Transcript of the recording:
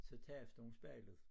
Så tabte hun spejlet